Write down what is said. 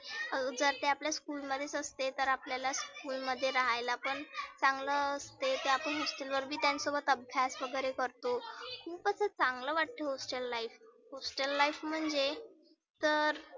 अजुन त्या आपल्या school मध्येच असते तर आपल्याला school मध्ये रहायला पण चांगलं ते ते आपण hostel अभ्यास वगैरे करतो. खुप असं चांगलं वाटतं hostel life hostel life म्हणजे तर